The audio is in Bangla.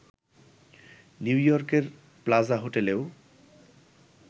নিউইয়র্কের প্লাজা হোটেলেও